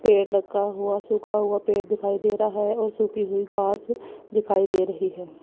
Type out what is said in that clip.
पेड़ लगा हुआ सूखा हुआ पेड़ दिखाई दे रहा है और सूखी हुई घास दिखाई दे रही है।